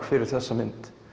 fyrir þessa mynd